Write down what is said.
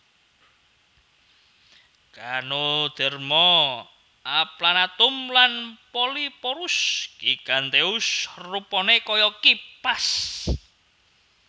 Ganoderma aplanatum lan Polyporus giganteus rupané kaya kipas